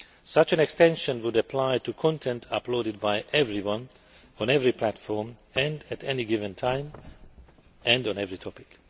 Such an extension would apply to content uploaded by everyone on every platform, at any given time and on every topic.